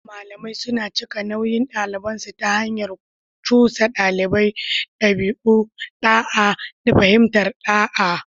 Malamai suna cika nauyin ɗabi'unsu ta hanyar cusa ɗalibai ɗabi'u, da'a, da fahimtar ɗa'a.